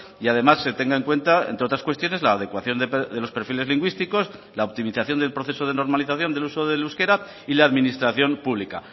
y además se tenga en cuenta entre otras cuestiones la adecuación de los perfiles lingüísticos la optimización del proceso de normalización del uso del euskera y la administración pública